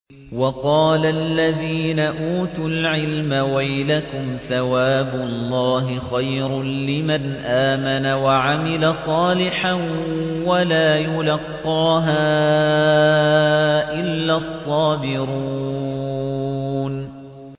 وَقَالَ الَّذِينَ أُوتُوا الْعِلْمَ وَيْلَكُمْ ثَوَابُ اللَّهِ خَيْرٌ لِّمَنْ آمَنَ وَعَمِلَ صَالِحًا وَلَا يُلَقَّاهَا إِلَّا الصَّابِرُونَ